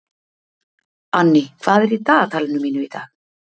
Anný, hvað er í dagatalinu mínu í dag?